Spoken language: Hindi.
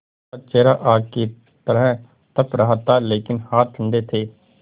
उनका चेहरा आग की तरह तप रहा था लेकिन हाथ ठंडे थे